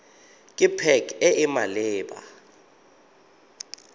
ke pac e e maleba